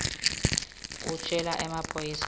utjele emaphoyisa kutsi